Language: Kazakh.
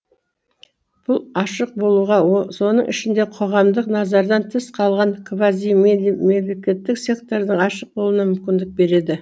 бұл ашық болуға соның ішінде қоғамдық назардан тыс қалған квазимемлекеттік сектордың ашық болуына мүмкіндік береді